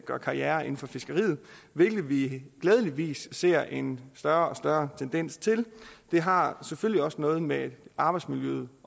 gøre karriere inden for fiskeriet hvilke vi glædeligvis ser en større og større tendens til det har selvfølgelig også noget med arbejdsmiljøet